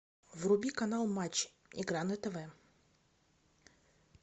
вруби канал матч игра на тв